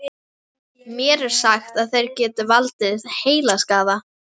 Mér er sagt að þeir geti valdið heilaskaða.